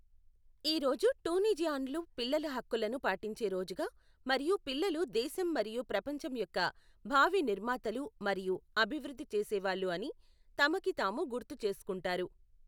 ఈ రోజు టూనిజియాన్లు పిల్లల హక్కులను పాటించే రోజుగా మరియు పిల్లలు దేశం మరియు ప్రపంచం యొక్క భావి నిర్మాతలు మరియు అభివృద్ధి చేసేవాళ్ళు అని తమకి తాము గుర్తుచేసుకుంటారు.